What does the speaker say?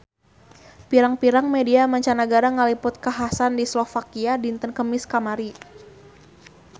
Pirang-pirang media mancanagara ngaliput kakhasan di Slovakia dinten Kemis kamari